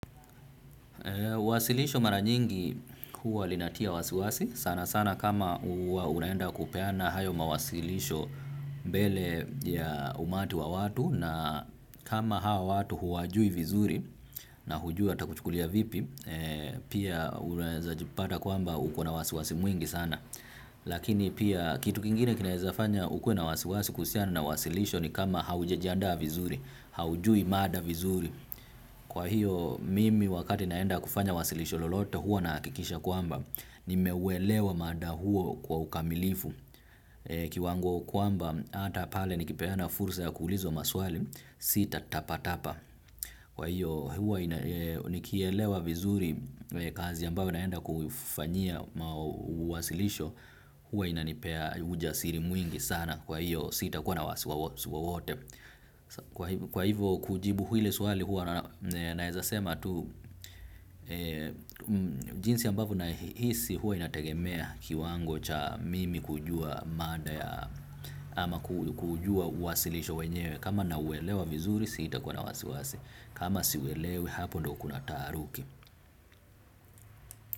Wasilisho mara nyingi huwa linatia wasiwasi sana sana kama huwa unaenda kupeana hayo mawasilisho mbele ya umati wa watu na kama hao watu huwajui vizuri na hujui watakuchukulia vipi pia unaeza jipata kwamba uko na wasiwasi mwingi sana. Lakini pia kitu kingine kinaezafanya ukuwe na wasiwasi kuhusiana na wasilisho ni kama haujajiandaa vizuri haujui mada vizuri. Kwa hiyo mimi wakati naenda kufanya wasilisho lolote huwa nahakikisha kwamba nimeuwelewa mada huo kwa ukamilifu. Kiwango kwamba hata pale nikipeana fursa ya kuulizwa maswali sitatapatapa. Kwa hiyo huo nikielewa vizuri kazi ambayo naenda kuifanyia uwasilisho. Huwa inanipea ujasiri mwingi sana kwa hiyo sitakuwa na wasiwasi wowote. Kwa hivyo kujibu ile swali huwa naezasema tu. Jinsi ambavyo nahisi huwa inategemea kiwango cha mimi kujua mada ya ama kujua uwasilisho wenyewe kama nauwelewa vizuri sitakuwa na wasiwasi. Kama siuwelewe hapo ndo kuna taaruki.